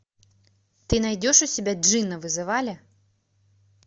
ты найдешь у себя джинна вызывали